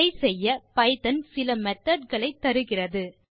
இதை செய்ய பைத்தோன் சில மெத்தோட் களை தருகிறது